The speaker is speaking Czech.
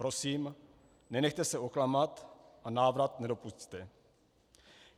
Prosím nenechte se oklamat a návrat nedopusťte.